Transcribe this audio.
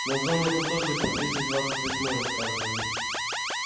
на зоне это тоже по двести двадцать восьмой рассказывали